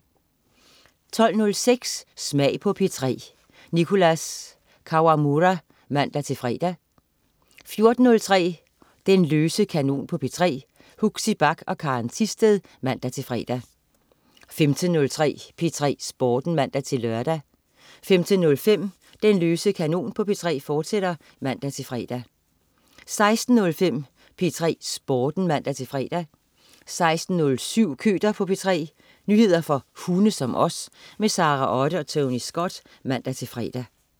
12.06 Smag på P3. Nicholas Kawamura (man-fre) 14.03 Den løse kanon på P3. Huxi Bach og Karen Thisted (man-fre) 15.03 P3 Sporten (man-lør) 15.05 Den løse kanon på P3, fortsat (man-fre) 16.05 P3 Sporten (man-fre) 16.07 Køter på P3. Nyheder for hunde som os. Sara Otte og Tony Scott (man-fre)